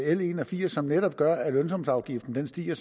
en og firs som netop gør at lønsumsafgiften stiger